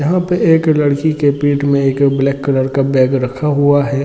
यहाँ पे एक लड़की के पीठ मे एक ब्लैक कलर का बैग रखा हुआ है।